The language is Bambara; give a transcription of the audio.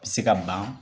A bɛ se ka ban